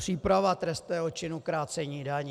Příprava trestného činu krácení daní.